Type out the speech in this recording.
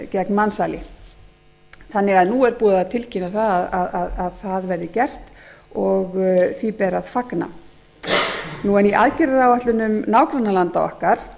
gegn mansali nú er því búið að tilkynna að það verði gert og því ber að fagna í aðgerðaáætlun nágrannalanda okkar